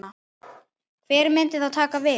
Hver myndi þá taka við?